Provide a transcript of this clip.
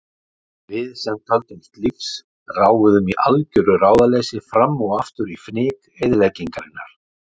Við sem töldumst lífs ráfuðum í algjöru ráðaleysi fram og aftur í fnyk eyðingarinnar.